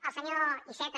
al senyor iceta